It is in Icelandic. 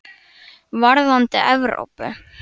Varðandi Evrópu?